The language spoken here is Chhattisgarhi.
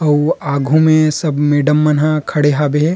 आऊ आघू में सब मैडम मन ह खड़े हाबे।